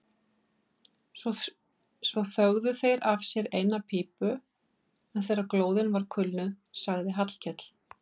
Svo þögðu þeir af sér eina pípu en þegar glóðin var kulnuð sagði Hallkell